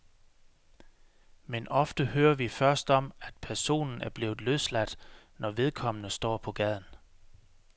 Men ofte hører vi først om, at en person er blevet løsladt, når vedkommende står på gaden.